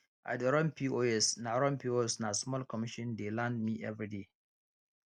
i dey run pos na run pos na small commission dey land me everyday